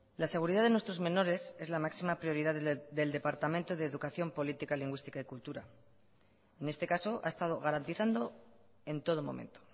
la seguridad de nuestros menores es la máxima prioridad del departamento de educación política lingüística y cultura en este caso ha estado garantizando en todo momento